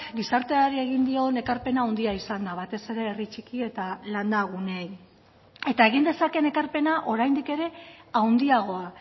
gizarteari egin dion ekarpena handia izan da batez ere herri txiki eta landa guneei eta egin dezakeen ekarpena oraindik ere handiagoa